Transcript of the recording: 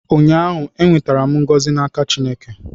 ụnyaahụ, m nwetara ngọzị n'aka Chineke